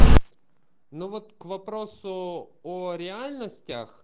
ну вот к вопросу о реальностях